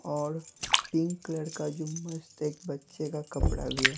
औड़ pink colour का जो मस्त एक बच्चे का कपड़ा है।